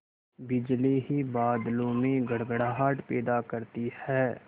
बिजली ही बादलों में गड़गड़ाहट पैदा करती है